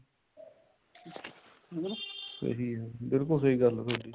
ਸਹੀ ਹੈ ਬਿਲਕੁਲ ਸਹੀ ਗੱਲ ਹੈ ਥੋਡੀ